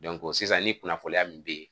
sisan ni kunnafoniya min be yen